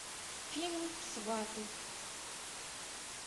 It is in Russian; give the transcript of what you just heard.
фильм сваты